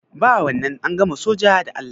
Ba wannan, an gama soja da Allah.